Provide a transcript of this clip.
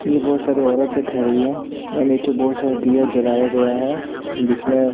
ये बहुत सारे औरते खड़ी है और नीचे बहुत सारे दिया जलाया गया है जिसमे--